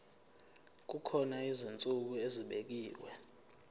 kukhona izinsuku ezibekiwe